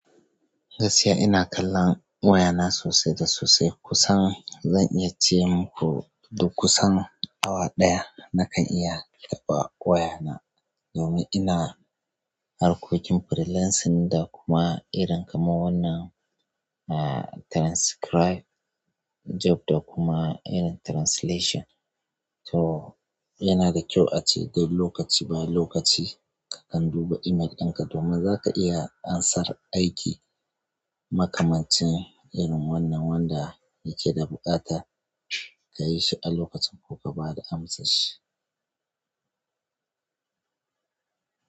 Gaskiya ina kallon wayana sosai da sosai. Kusan zan iya ce maku duk kusan awa ɗaya nakan iya taɓa wayana. Domin ina harkokin freelancing da kuma irin kaman wannan, ah, transcribe job da kuma irin translation. To yana da kyau a ce duk lokaci bayan lokaci kakan duba email ɗinka domin zaka iya amsar aiki makamanci irin wannan wanda yake da buƙata. Ka yi shi a lokacin ko ka ba da amsa shi.